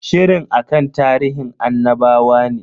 Shirin akan tarihin annabawa ne.